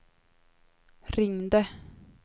ringde